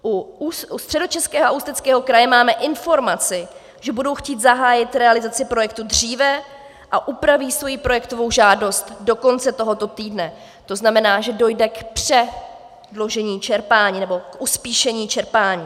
U Středočeského a Ústeckého kraje máme informaci, že budou chtít zahájit realizaci projektu dříve a upraví svoji projektovou žádost do konce tohoto týdne, to znamená, že dojde k předložení čerpání, nebo k uspíšení čerpání.